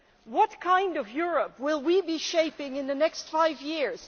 What kind of Europe will we be shaping in the next five years?